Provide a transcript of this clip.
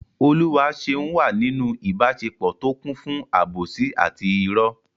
Oluwaseun wà nínú ìbáṣepọ̀ tó kún fún àbòsí àti ìrọ́.